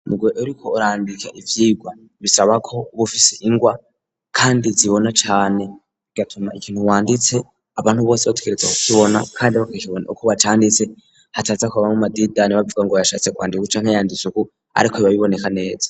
Muguhe uriko urandika ivyirwa bisaba ko uba ufise ingwa kandi zibona cane bigatuma ikintu wanditse abantu bose bategerezwa ku kibona kandi bakibona uko wacanditse hataza ku bamwo amadidani bavuga ngo yashatse kwandika uku canke yanditse uku ariko biba biboneka neza.